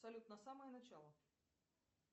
салют на самое начало